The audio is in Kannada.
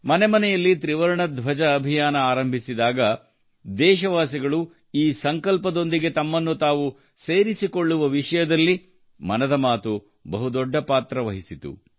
ಮನೆ ಮನೆಯಲ್ಲಿ ತ್ರಿವರ್ಣ ಧ್ವಜ ಅಭಿಯಾನ ಆರಂಭಿಸಿದಾಗ ದೇಶವಾಸಿಗಳು ಈ ಸಂಕಲ್ಪದೊಂದಿಗೆ ತಮ್ಮನ್ನು ತಾವು ಸೇರಿಕೊಳ್ಳುವ ವಿಷಯದಲ್ಲಿ ಮನದ ಮಾತು ಬಹು ದೊಡ್ಡ ಪಾತ್ರ ವಹಿಸಿತು